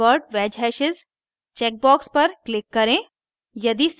invert wedge hashes check box पर click करें